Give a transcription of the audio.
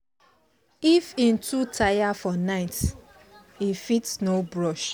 if him too tire for night he fit no brush